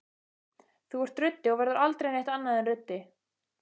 Þú ert ruddi og verður aldrei neitt annað en ruddi.